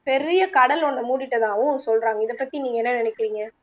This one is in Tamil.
பெரிய கடல் ஒன்னு மூடிட்டதாகவும் சொல்லுறாங்க இத பத்தி நீங்க என்ன நினைக்கிறிங்க